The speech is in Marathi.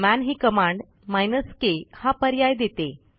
मन ही कमांडminus के हा पर्याय देते